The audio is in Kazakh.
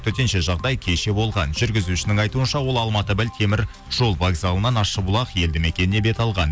төтенше жағдай кеше болған жүргізушінің айтуынша ол алматы бір теміржол вокзалынан ащыбұлақ елдімекеніне бет алған